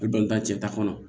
I dɔnta cɛ ta kɔnɔ